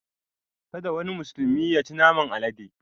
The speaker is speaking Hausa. Kada wani musulmi yaci naman alade!